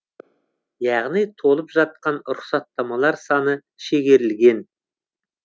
яғни толып жатқан рұқсаттамалар саны шегерілген